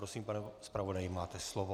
Prosím, pane zpravodaji, máte slovo.